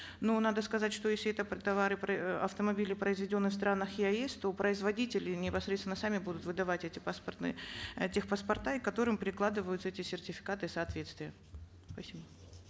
но надо сказать что если это товары автомобили произведенные в странах еаэс то производители непосредственно сами будут выдавать эти паспортные э тех паспорта к которым прикладываются эти сертификаты соответствия спасибо